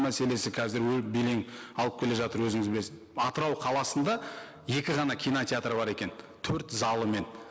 мәселесі қазір белең алып келе жатыр өзіңіз білесіз атырау қаласында екі ғана кинотеатр бар екен төрт залымен